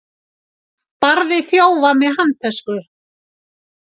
Barði þjófa með handtösku